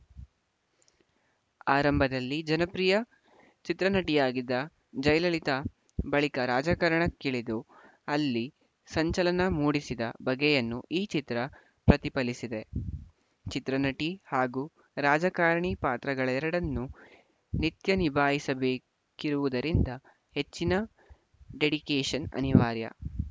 ಆರಂಭದಲ್ಲಿ ಜನಪ್ರಿಯ ಚಿತ್ರನಟಿಯಾಗಿದ್ದ ಜಯಲಲಿತಾ ಬಳಿಕ ರಾಜಕಾರಣಕ್ಕಿಳಿದು ಅಲ್ಲಿ ಸಂಚಲನ ಮೂಡಿಸಿದ ಬಗೆಯನ್ನು ಈ ಚಿತ್ರ ಪ್ರತಿಫಲಿಸಿದೆ ಚಿತ್ರನಟಿ ಹಾಗೂ ರಾಜಕಾರಣಿ ಪಾತ್ರಗಳೆರಡನ್ನೂ ನಿತ್ಯಾ ನಿಭಾಯಿಸಬೇಕಿರುವುದರಿಂದ ಹೆಚ್ಚಿನ ಡೆಡಿಕೇಶನ್‌ ಅನಿವಾರ್ಯ